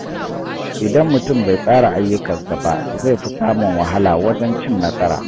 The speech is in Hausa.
Idan mutum bai tsara ayyukansa ba, zai fi samun wahala wajen cin nasara.